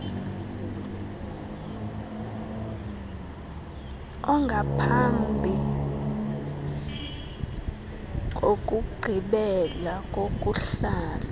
ongamphambi kokugqibela kokuhlala